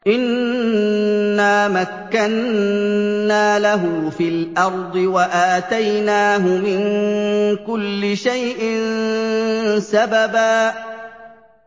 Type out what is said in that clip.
إِنَّا مَكَّنَّا لَهُ فِي الْأَرْضِ وَآتَيْنَاهُ مِن كُلِّ شَيْءٍ سَبَبًا